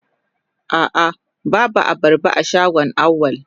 A'a babu abarba a shagon Auwal.